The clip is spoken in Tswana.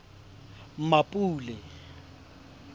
mmapule